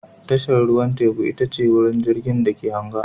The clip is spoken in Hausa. Tashar ruwan teku ita ce wurin da jirgin ke anga